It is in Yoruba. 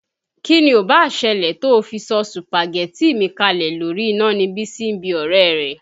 Kí ni ò báà ṣẹlẹ̀ tó fi sọ sùpàgẹ́tì mi kalẹ̀ lórí iná ni Bísí ń bí ọ̀rẹ́ rẹ̀.